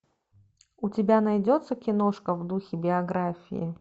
у тебя найдется киношка в духе биографии